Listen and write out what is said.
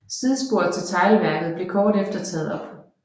Sidesporet til teglværket blev kort efter taget op